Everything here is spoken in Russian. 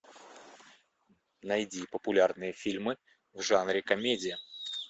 найди популярные фильмы в жанре комедия